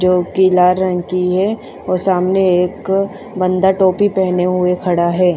जो पीला रंग की है और सामने एक बंदा टोपी पेहने हुए खड़ा है।